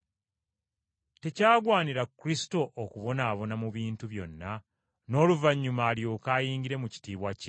Tekyagwanira Kristo okubonaabona mu bintu byonna n’oluvannyuma alyoke ayingire mu kitiibwa kye?”